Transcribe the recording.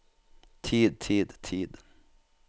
tid tid tid